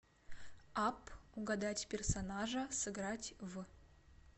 апп угадать персонажа сыграть в